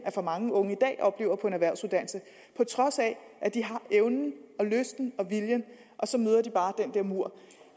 for mange unge i dag oplever på en erhvervsuddannelse på trods af at de har evnen og lysten og viljen og så møder de bare den der mur